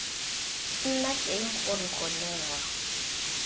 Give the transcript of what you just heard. nna teng gore go newa